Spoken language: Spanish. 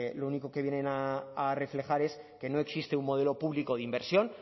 lo único que vienen a reflejar es que no existe un modelo público de inversión